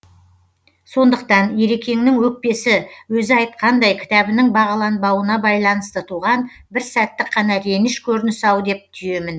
сондықтан ерекеңнің өкпесі өзі айтқандай кітабының бағаланбауына байланысты туған бір сәттік қана реніш көрінісі ау деп түйемін